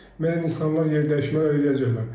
Müəyyən insanlar yerdəyişmələr eləyəcəklər.